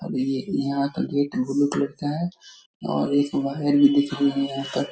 अभी ये यहाँ का गेट ब्लू कलर का है और एक बाहर भी दिख रही है यहां पर --